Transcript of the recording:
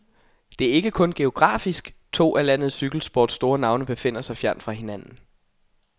Det er ikke kun geografisk, to af landets cykelsports store navne befinder sig fjernt fra hinanden.